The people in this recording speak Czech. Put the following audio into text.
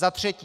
Za třetí.